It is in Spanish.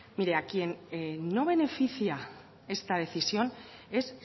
mire a quien no beneficia esta decisión es